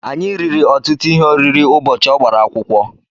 Anyị riri ọtụtụ ihe oriri ụbọchị ọ gbara akwụkwọ.